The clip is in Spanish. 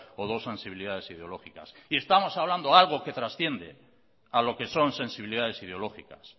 o dos sensibilidades ideológicas estamos hablando de algo que transciende a lo que son sensibilidades ideológicas